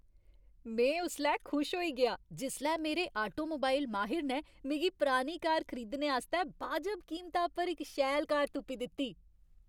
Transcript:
में उसलै खुश होई गेआ जिसलै मेरे आटोमोबाइल माहिर ने मिगी पुरानी कार खरीदने आस्तै बाजब कीमता उप्पर इक शैल कार तुप्पी दित्ती।